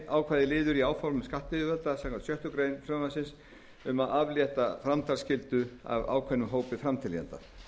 ákvæðið liður í áformum skattyfirvalda samkvæmt sjöttu greinar frumvarpsins um að aflétta framtalsskyldu af tilgreindum hópi framteljanda